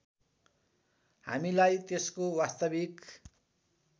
हामीलाई त्यसको वास्तविक